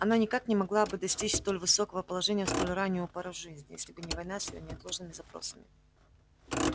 она никак не могла бы достичь столь высокого положения в столь раннюю пору жизни если бы не война с её неотложными запросами